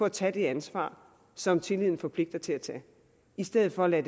at tage det ansvar som tilliden forpligter en til at tage i stedet for at man